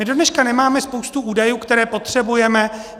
My dodneška nemáme spoustu údajů, které potřebujeme.